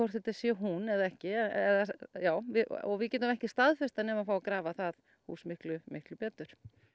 þetta sé hún eða ekki og við getum ekki staðfest það nema fá að grafa það hús miklu miklu betur